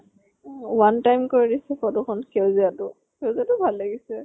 one time কৰি দিছো photo খন সেউজীয়াটো। সেউজীয়াটো ভাল লাগিছে।